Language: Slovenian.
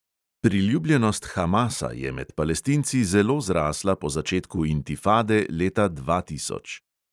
Priljubljenost hamasa je med palestinci zelo zrasla po začetku intifade leta dva tisoč.